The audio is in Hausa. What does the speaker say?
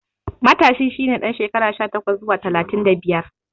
Matashi shi ne ɗan shekara sha takwas zuwa talatin da biyar.